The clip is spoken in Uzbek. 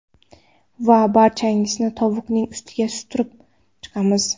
Va barchasini tovuqning ustiga surtib chiqamiz.